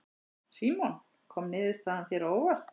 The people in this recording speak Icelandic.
Símon: Kom niðurstaðan þér á óvart?